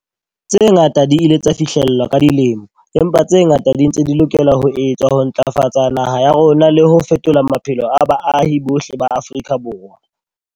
Tse ngata di ile tsa fihlellwa ka dilemo, empa tse ngata di ntse di lokela ho etswa ho ntlafatsa naha ya rona le ho fetola maphelo a baahi bohle ba Afrika Borwa.